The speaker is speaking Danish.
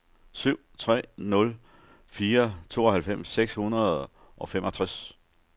syv tre nul fire tooghalvfems seks hundrede og femogtres